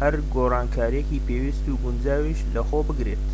هەر گۆڕانکاریەکی پێویست و گونجاویش لە خۆ بگرێت